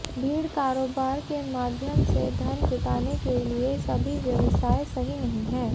भीड़ कारोबार के माध्यम से धन जुटाने के लिए सभी व्यवसाय सही नहीं हैं